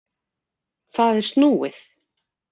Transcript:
Það er snúið.